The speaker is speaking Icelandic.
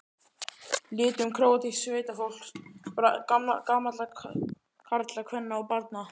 litum króatísks sveitafólks, gamalla karla, kvenna og barna.